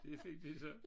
Det fik de så